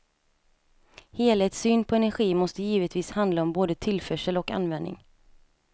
Helhetssyn på energi måste givetvis handla om både tillförsel och användning.